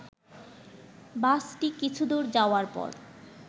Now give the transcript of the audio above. বাসটি কিছুদূর যাওয়ার পর